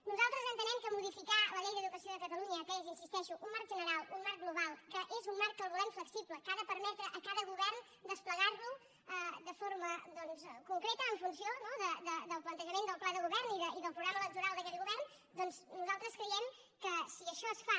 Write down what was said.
nosaltres entenem que modificar la llei d’educació de catalunya que és hi insisteixo un marc general un marc global que és un marc que el volem flexible que ha de permetre a cada govern desplegar lo de forma concreta en funció no del plantejament del pla de govern i del programa electoral d’aquell govern doncs nosaltres creiem que si això es fa